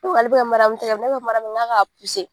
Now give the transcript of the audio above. ale bi ka MARIYAMU tɛgɛ minɛ ne ko MARIYAMU MA n k'a k'a .